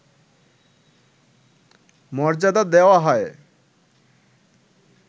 মর্যাদা দেওয়া হয়